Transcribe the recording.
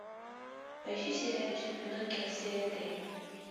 поищи сериальчик пиноккио серия три